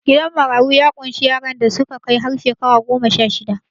Gidan marayu ya ƙunshi yaran da suka kai har shekara goma-sha-shida